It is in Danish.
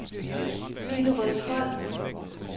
Hillerødsholm